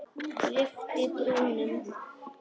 Lyfti brúnum.